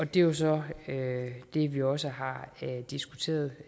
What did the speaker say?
det er jo så er det vi også har diskuteret